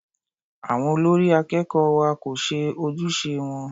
Àwọn olórí akẹ́kọ̀ọ́ wa kò ṣe ojúṣe wọn.